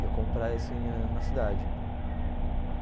Ia comprar isso aí na cidade.